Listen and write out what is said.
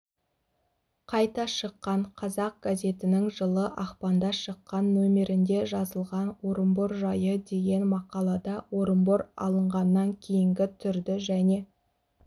қайта шыққан қазақ газетінің жылы ақпанда шыққан нөмірінде жазылған орынбор жайы деген мақалада орынбор алынғаннан кейінгі түрді және